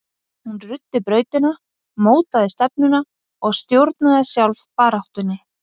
Hún ruddi brautina, mótaði stefnuna og stjórnaði sjálf baráttunni.